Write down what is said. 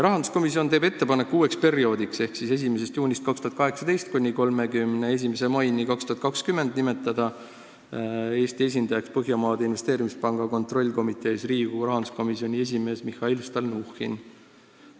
Rahanduskomisjon teeb ettepaneku uueks perioodiks ehk 1. juunist 2018 kuni 31. maini 2020 nimetada Eesti esindajaks Põhjamaade Investeerimispanga kontrollkomitees Riigikogu rahanduskomisjoni esimees Mihhail Stalnuhhin.